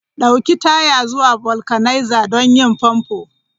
Ɗauki taya zuwa vulcanizer don yin famfo!